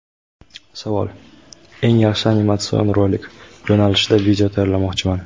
Savol: "Eng yaxshi animatsion rolik" yo‘nalishida video tayyorlamoqchiman.